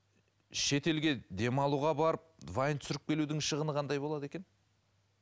шетелге демалуға барып вайн түсіріп келудің шығыны қандай болады екен